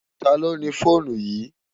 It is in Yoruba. Táló ni fónú yi?